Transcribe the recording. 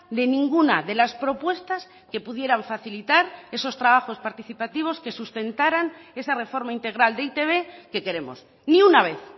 de ninguna de las propuestas que pudieran facilitar esos trabajos participativos que sustentaran esa reforma integral de e i te be que queremos ni una vez